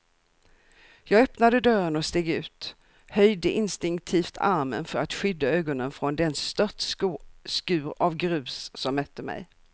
Jag öppnade dörren och steg ut, höjde instinktivt armen för att skydda ögonen från den störtskur av grus som mötte mig.